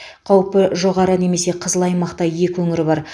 қаупі жоғары немесе қызыл аймақта екі өңір бар